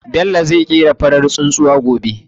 Bello zai ƙera farar tsuntsuwa gobe.